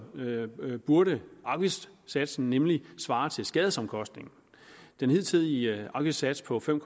vedkommende burde afgiftssatsen nemlig svare til skadesomkostningen den hidtidige afgiftssats på fem